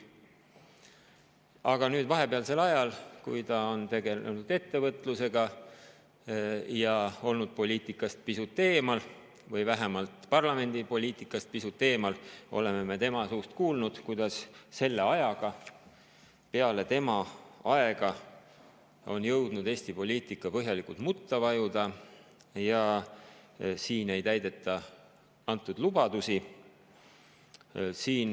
Aga vahepealsel ajal, kui ta tegeles ettevõtlusega ja oli poliitikast pisut eemal või vähemalt parlamendipoliitikast pisut eemal, oleme me tema suust kuulnud, kuidas selle ajaga on jõudnud Eesti poliitika põhjalikult mutta vajuda ja ei täideta antud lubadusi.